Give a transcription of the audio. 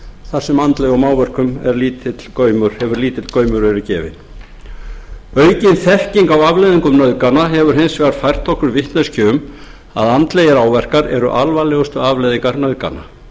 þar sem andlegum áverkum hefur verið lítill gaumur gefinn aukin þekking á afleiðingum nauðgana hefur hins vegar fært okkur vitneskju um að andlegir áverkar eru alvarlegustu afleiðingar nauðgana